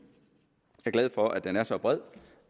jeg er glad for at den er så bred